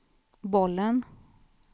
bollen